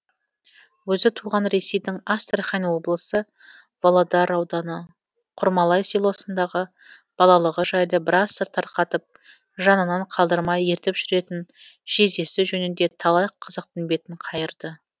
өзі туған ресейдің астрахань облысы володар ауданы құрмалай селосындағы балалығы жайлы біраз сыр тарқатып жанынан қалдырмай ертіп жүретін жездесі жөнінде талай қызықтың бетін қайырды